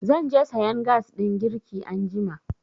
Zan je sayan gas ɗin girki anjima.